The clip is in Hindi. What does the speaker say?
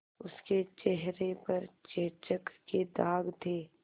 उसके चेहरे पर चेचक के दाग थे